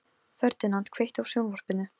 Ferdinand, kveiktu á sjónvarpinu.